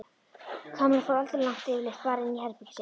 Kamilla fór aldrei langt yfirleitt bara inn í herbergið sitt.